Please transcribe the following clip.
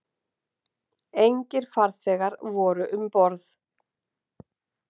Engir farþegar voru um borð